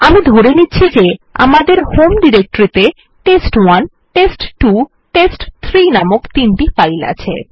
আমি ধরে নিচ্ছি যে যে আমাদের হোম ডিরেক্টরিতে টেস্ট1 টেস্ট2 টেস্ট3 নামক তিনটি ফাইল আছে